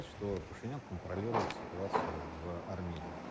Paşinyan Ermənistanda vəziyyətə nəzarət edir.